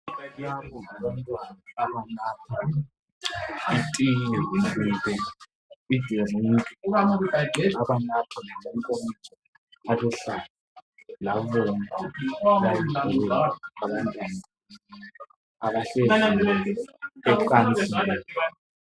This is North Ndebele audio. Labo ngabantwana abanatha itiye. Banatha ngamankomitsho abomvu laluhlaza layibhulu. Abantwana abahlezi ecansini.